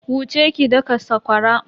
Wuce ki daka sakwara.